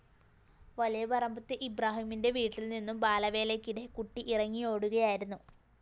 വലിയപറമ്പത്ത് ഇബ്രാഹിമിന്റെ വീട്ടില്‍ നിന്നും ബാലവേലയ്ക്കിടെ കുട്ടി ഇറങ്ങിയോടുകയായിരുന്നു